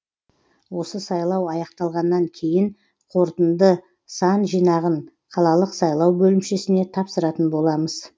осы сайлау аяқталғаннан кейін қорытынды сан жинағын қалалық сайлау бөлімшесіне тапсыратын боламыз